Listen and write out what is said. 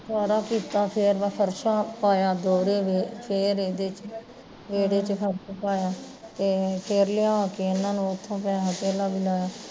ਏਨਾਂ ਕੀਤਾ ਫੇਰ ਮੈਂ ਫਰਸ਼ਾਂ ਪਈਆ ਦੋਹਰੇ ਕੀ ਫੇਰ ਇਹਦੇ ਚ, ਇਹਦੇ ਚ ਫ਼ਰਸ਼ ਪਾਇਆ, ਫੇਰ ਲਿਆ ਕੇ ਇਹਨਾਂ ਨੂੰ ਉੱਥੋਂ ਪੈਸਾ ਤੇਲਾ ਵੀ ਲਾਇਆ